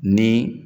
Ni